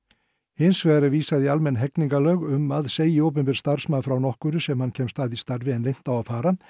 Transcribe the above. hins vegar er vísað í almenn hegningarlög um að segi opinber starfsmaður frá nokkru sem hann kemst að í starfi en leynt á að fara